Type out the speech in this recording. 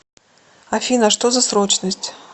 афина что за срочность